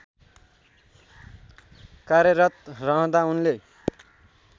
कार्यरत रहँदा उनले